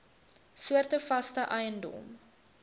soorte vaste eiendom